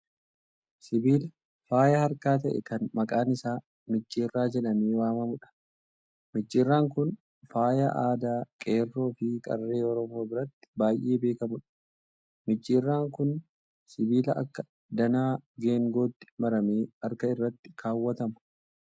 Sibiila faayya harkaa ta'e kan maqaan isaa micciirraa jedhamee waamamuudha. Micciirraan kun faayya aadaa qeerroo fi qarree Oromoo biratti baay'ee beekamuudha. Micciirraa kun sibiila akka danaa geengootti maramee harka irratti kaawwatama.